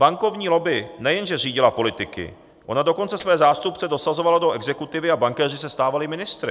Bankovní lobby nejenže řídila politiky, ona dokonce své zástupce dosazovala do exekutivy a bankéři se stávali ministry.